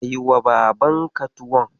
Kaiwa babanka tuwon.